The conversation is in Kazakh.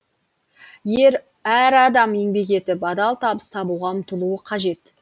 әр адам еңбек етіп адал табыс табуға ұмтылуы қажет